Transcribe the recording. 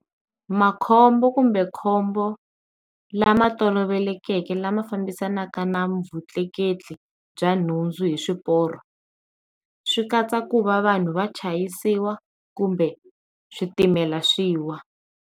Makhombo kumbe khombo lama tolovelekeke lama fambisanaka na vutleketli bya nhundzu hi swipoio swi katsa ku va vanhu va chayisiwa kumbe switimela swiwa.